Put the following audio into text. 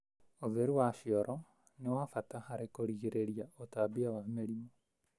ũtheru wa cioro ni wa bata harĩ kũrigĩrĩria ũtambia wa mĩrimu.